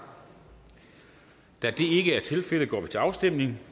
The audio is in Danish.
da det ikke er tilfældet går vi til afstemning